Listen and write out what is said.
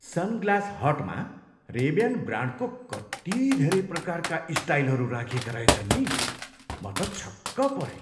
Sunglass हटमा Ray Ban ब्रान्डको कति धेरै प्रकारका स्टाइलहरू राखिएका रहेछन् नि? म त छक्क परेँ।